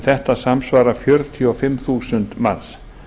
þetta samsvarar fjörutíu og fimm þúsund manns